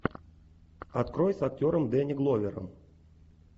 открой с актером дэнни гловером